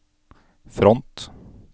front